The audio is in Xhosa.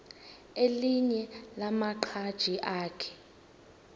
elinye lamaqhaji akhe